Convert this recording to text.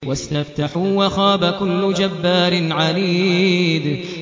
وَاسْتَفْتَحُوا وَخَابَ كُلُّ جَبَّارٍ عَنِيدٍ